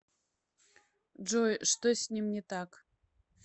джой что с ним не так